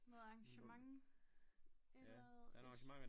Noget arrangement et eller andet ish